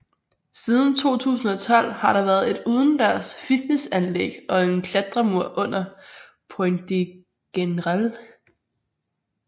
Siden 2012 har der været et udendørs fitnessanlæg og en klatremur under Pont de Grenelle